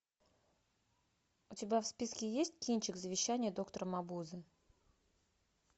у тебя в списке есть кинчик завещание доктора мабузе